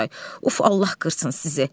Oqtay, uf Allah qırsın sizi.